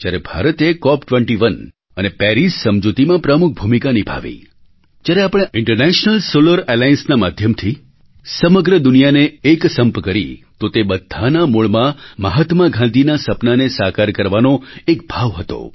જ્યારે ભારતે Cop21 અને પેરિસ સમજૂતીમાં પ્રમુખ ભૂમિકા નિભાવી જ્યારે આપણે ઇન્ટરનેશનલ સોલર allianceના માધ્યમથી સમગ્ર દુનિયાને એકસંપ કરી તો તે બધાના મૂળમાં મહાત્મા ગાંધીના આ સપનાને સાકાર કરવાનો એક ભાવ હતો